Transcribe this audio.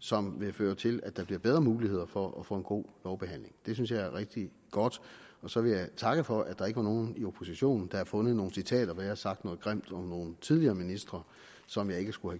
som vil føre til at der bliver bedre muligheder for at få en god lovbehandling det synes jeg er rigtig godt så vil jeg takke for at der ikke var nogen i oppositionen der havde fundet nogle citater hvor jeg havde sagt noget grimt om nogle tidligere ministre som jeg ikke skulle